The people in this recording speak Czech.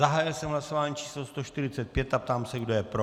Zahájil jsem hlasování číslo 145 a ptám se, kdo je pro.